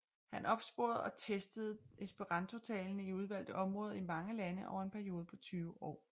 Han opsporede og testede esperantotalende i udvalgte områder i mange lande over en periode på 20 år